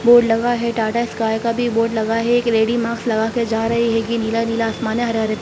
board लगा है टाटा स्काई का भी बोर्ड लगा है एक लेडी मास्क लगा के जा रही हैगी नीला-नीला आसमान है हरे-हरे--